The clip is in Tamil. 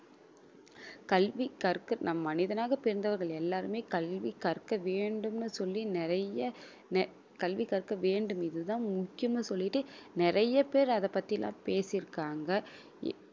கல்வி கற்க நம் மனிதனாகப் பிறந்தவர்கள் எல்லாருமே கல்வி கற்க வேண்டும்ன்னு சொல்லி நிறைய நி~ கல்வி கற்க வேண்டும் இதுதான் முக்கியன்னு சொல்லிட்டு நிறைய பேர் அதைப் பத்தி எல்லாம் பேசியிருக்காங்க